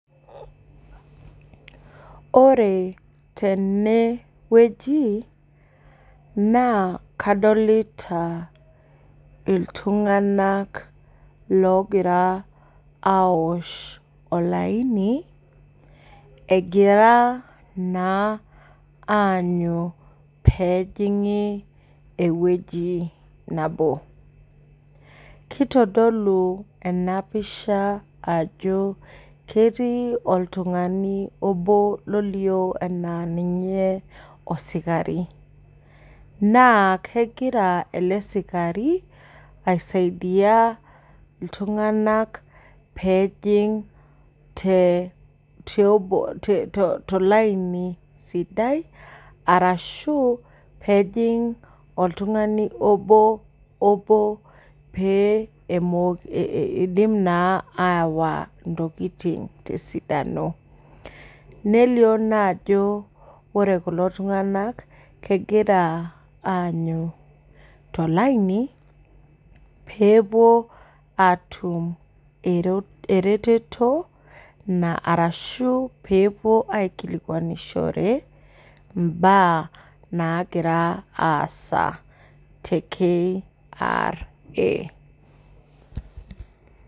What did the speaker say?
Ore teneweji naa kadolita iltunganak ogira aosh olaini ,egira naa anyu pee ejingi eweji nabo. kitodolu ena pisha ajo ketii oltungani obo olio enaa ninye osikari. Naa kegira ele sikarini aisaidia iltunganak pee ejing tolaini sidai arashu pee ejing oboo obo pee etum naaa awa ntokiting tesidano. Nelio naa ajo ore kulo tunganak negira anyu tolainipee epuo atum ereteto ashu pe epuo aikilikwanishore mbaa nagira aasa te KRA.